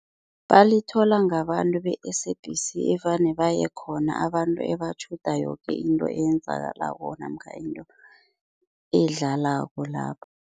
Balithola ngabantu be-S_A_B_C evane baye khona abantu ebatjhuda yoke into eyenzakalako namkha into edlalako lapha.